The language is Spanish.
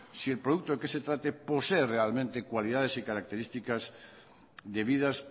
si el producto de que se trate posee realmente cualidades y características debidas